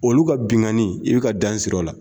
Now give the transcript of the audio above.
Olu ka binganni, i bɛ ka dan siri o la.